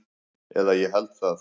Eða ég held það.